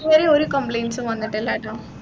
ഇതുവരെ ഒരു complaints ഉം വന്നിട്ടില്ലട്ടോ